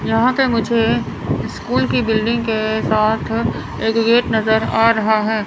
यहां पे मुझे स्कूल की बिल्डिंग के साथ एक गेट नजर आ रहा है।